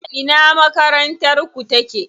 A ina makarantar ku take?